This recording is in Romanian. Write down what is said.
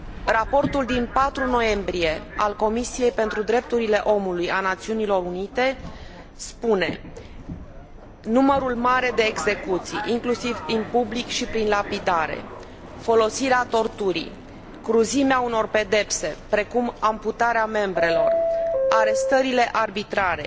Raportul din 4 noiembrie al Comisiei pentru Drepturile Omului a Națiunilor Unite spune numărul mare de execuții, inclusiv în public și prin lapidare, folosirea torturii, cruzimea unor pedepse, precum amputarea membrelor, arestările arbitrare,